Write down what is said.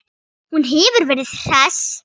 Hún hefur verið hress?